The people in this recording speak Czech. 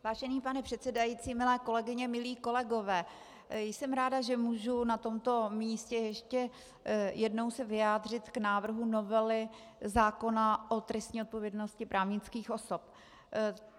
Vážený pane předsedající, milé kolegyně, milí kolegové, jsem ráda, že můžu na tomto místě ještě jednou se vyjádřit k návrhu novely zákona o trestní odpovědnosti právnických osob.